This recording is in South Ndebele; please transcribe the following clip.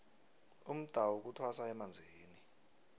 umdawu kuthwasa emanzini